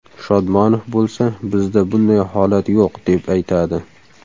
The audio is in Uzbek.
Shodmonov bo‘lsa bizda bunday holat yo‘q, deb aytadi.